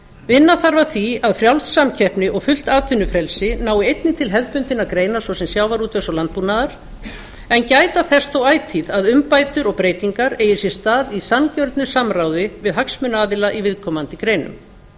vinna þarf að því að frjáls samkeppni og fullt atvinnufrelsi nái einnig til hefðbundinna greina svo sem sjávarútvegs og landbúnaðar en gæta þess þó ætíð að umbætur og breytingar eigi sér stað í sanngjörnu samráði við hagsmunaaðila í viðkomandi greinum